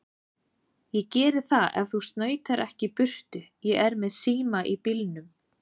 Ég geri það ef þú snautar ekki í burtu. ég er með síma í bílnum.